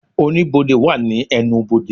Oníbodè wà ní ẹnubodè